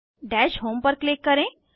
दश होम पर क्लिक करें